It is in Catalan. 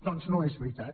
doncs no és veritat